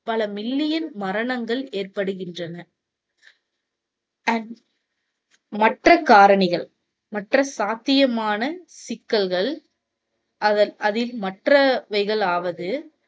பல மில்லியன் மரணங்கள் ஏற்படுகின்றன. மற்ற காரணிகள், மற்ற சாத்தியமான சிக்கல்கள், அத~ அதில் மற்றவைகளாவது